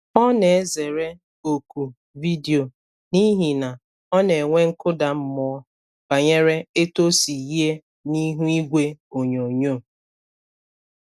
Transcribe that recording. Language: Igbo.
Ọ na-ezere oku vidio n’ihi na ọ na-enwe nkụda mmụọ banyere etu o si yie n’ihu igwe onyonyo.